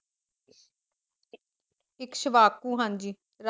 ਏਸ਼ਵਾਕੂ ਹਾਂਜੀ